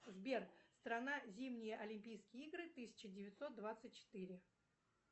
сбер страна зимние олимпийские игры тысяча девятьсот двадцать четыре